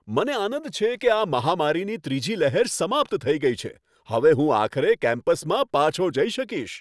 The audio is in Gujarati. મને આનંદ છે કે આ મહામારીની ત્રીજી લહેર સમાપ્ત થઈ ગઈ છે. હવે હું આખરે કેમ્પસમાં પાછો જઈ શકીશ.